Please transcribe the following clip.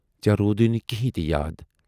ژے روٗدے نہٕ کیٖنہۍ تہِ یاد؟